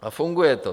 A funguje to.